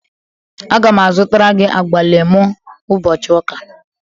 Aga m azụtara gị agwalemu ụbọchị ụka